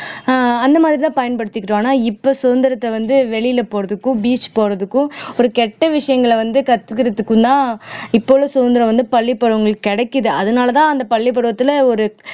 ஆஹ் அந்த மாரி தான் பயன்படுத்திக்கிட்டோம் ஆனா இப்ப சுதந்திரத்தை வந்து வெளியில போறதுக்கும் beach போறதுக்கும் ஒரு கெட்ட விஷயங்களை வந்து கத்துகிறதுக்கும்தான் இப்ப உள்ள சுதந்திரம் வந்து பள்ளிப்பருவங்களுக்கு கிடைக்குது அதனாலதான் அந்த பள்ளிப்பருவத்துல ஒரு